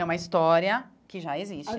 É uma história que já existe.